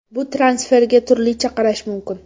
Bu transferga turlicha qarash mumkin.